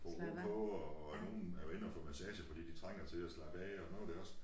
Få ro på og nogen er inde og få masse fordi de trænger til at slappe af og nu det også